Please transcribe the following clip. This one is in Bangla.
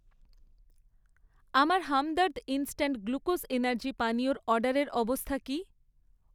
আমার হামদর্দ ইনস্ট্যান্ট গ্লুকোজ এনার্জি পানীয়র অর্ডারের অবস্থা কী?